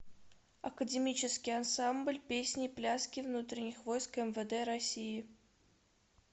академический ансамбль песни и пляски внутренних войск мвд россии